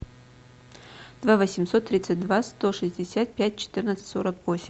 два восемьсот тридцать два сто шестьдесят пять четырнадцать сорок восемь